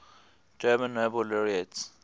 german nobel laureates